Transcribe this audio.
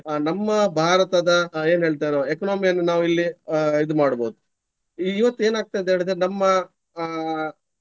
ನಮ್ಮ ಭಾರತದ ಏನ್ ಹೇಳ್ತಾರೆ economy ಯನ್ನು ನಾವು ಇಲ್ಲಿ ಅಹ್ ಇದು ಮಾಡ್ಬಹುದು. ಇವತ್ತು ಏನಾಗ್ತದೆ ಹೇಳಿದ್ರೆ ನಮ್ಮ ಅಹ್.